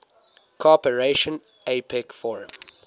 cooperation apec forum